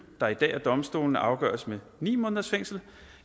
der i dag af domstolene afgøres med ni måneders fængsel